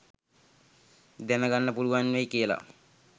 දැන ගන්න පුළුවන් වෙයි කියලා